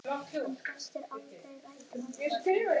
Hann festir aldrei rætur á Íslandi.